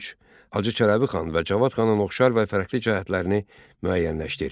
Hacı Çələbi xan və Cavad xanın oxşar və fərqli cəhətlərini müəyyənləşdir.